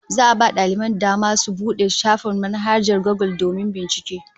Za'a a ba daliban dama su bude shafukan manhajar Gugul domin bincike